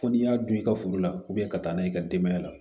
Fo n'i y'a don i ka foro la ka taa n'a ye i ka denbaya la